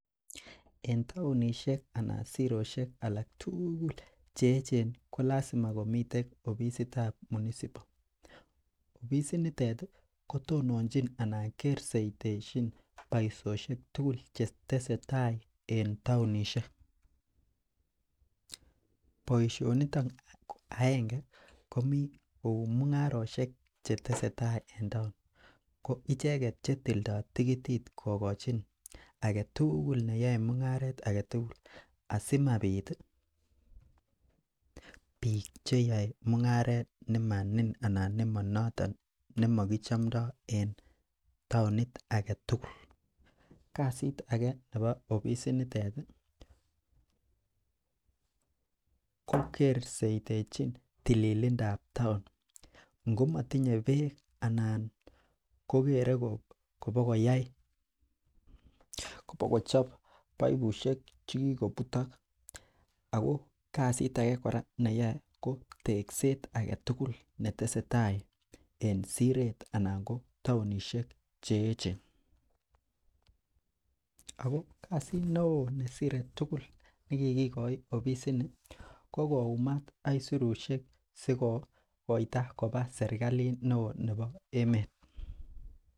En taonishiek anan siroshek alektugul cheyechen kolasima komiten oficit ab municipal oficit nitet kotononjin anan keserteshin Baishonik tugul chetesetai en emet anan taonishiek baishoniton agenge kominkou mungaroshek chetesetai en taon koicheken chetildoi tigitit kokachin agetugul neyae mungaret agetugul asimabit bik cheyae mungaret nemanoton ak nemakichomdo en taonit agetugul kasit age Nebo oficit nitet kokersheteni tililindo ab taon komatinye bek anan kogere kobakoyai kobakochop baibushek chekikobutok ako kasit age neyae kobtekset agetugul netesetai en Siret anan ko taonishiek cheyechen ako kasit neon Cheshire tugul nekikikoi oficit nitet kokoumak AK sirushek sikokoito Koba serikalit neon Nebo emet